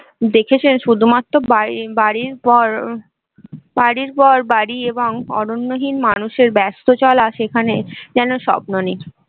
দেখেছেন শুধুমাত্র বাড়ির বাড়ির পর বাড়ির পর বাড়ি এবং অরণ্য হীন মানুষের ব্যাস্তচলা সেখানে যেন স্বপ্ন নেই